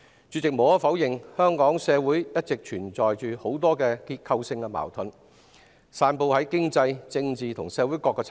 主席，無可否認，香港社會一直存在很多結構性矛盾，遍及經濟、政治及社會各個層面。